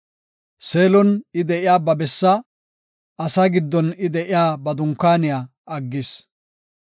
Seelon I de7iya ba bessaa, asaa giddon I de7iya ba dunkaaniya aggis.